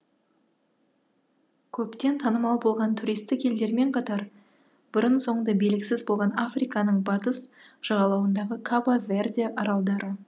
көптен танымал болған туристтік елдермен қатар бұрын соңды белгісіз болған африканың батыс жағалауындағы кабо верде аралдары